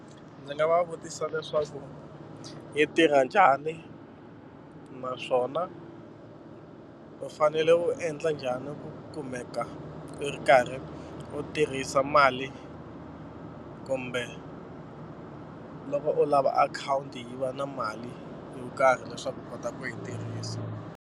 Ndzi nga va vutisa leswaku yi tirha njhani naswona u fanele u endla njhani ku kumeka i ri karhi u tirhisa mali kumbe loko u lava akhawunti yi va na mali yo karhi leswaku u kota ku yi tirhisa.